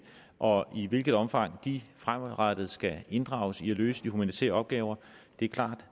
og i hvilket omfang de fremadrettet skal inddrages i at løse de humanitære opgaver er klart